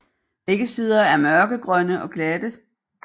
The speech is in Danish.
Begge sider er mørkegrønne og glatte